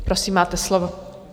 Prosím, máte slovo.